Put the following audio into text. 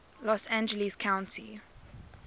los angeles county